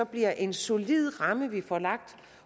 bliver en solid ramme vi får lagt